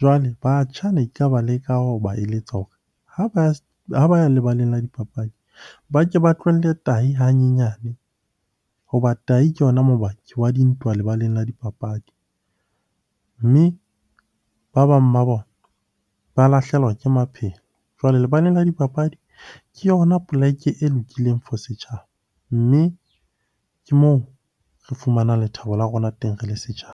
Jwale batjha ne ba leka ho ba eletsa hore ha ba ya lebaleng la dipapadi ba ke ba tlohelle tahi hanyenyane hoba tahi ke yona mobaki wa dintwa lebaleng la dipapadi. Mme ba bang ba bona ba lahlehelwa ke maphelo. Jwale lebaleng la dipapadi ke yona poleke e lokileng for setjhaba. Mme ke moo re fumanang lethabo la rona teng re le setjhaba.